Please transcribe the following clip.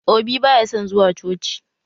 Obi baya son zuwa coci